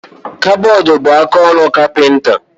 Kabọọdụ bu akaọrụ kapinta